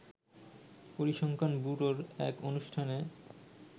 পরিসংখ্যান ব্যুরোর এক অনুষ্ঠানে